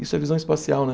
Isso é visão espacial, né?